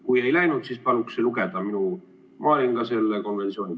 Kui ei läinud, siis paluks lugeda ka minu, ma olin ka selle konventsiooni ...